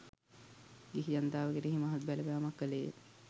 ගිහි ජනතාව කෙරෙහි මහත් බලපෑමක් කෙළේය.